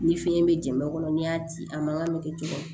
Ni fiɲɛ be jɛn kɔnɔ ni y'a ci a mankan be kɛ cogo di